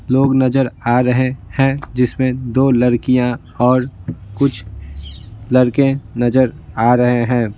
लोग नजर आ रहे हैं जिसमें दो लड़कियाँ और कुछ लड़के नजर आ रहे हैं।